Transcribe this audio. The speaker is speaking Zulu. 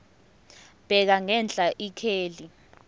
bheka ngenhla ikheli